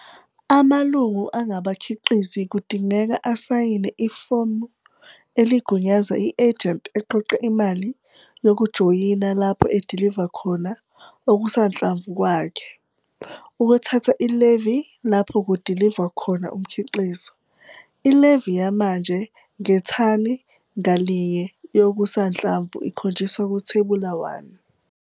Amalungu angabakhiqizi kudingeka asayine ifomu eligunyaza i-ejenti eqoqa imali yokujoyina lapho ediliva khona okusanhlamvu kwakhe, ukuthatha i-levy lapho kudivwa khona umkhiqizo. I-levy yamanje ngethani ngalinye yokusanhlamvu ikhonjiswa kuThebula 1.